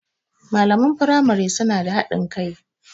Malaman firamari suna da haɗin kai.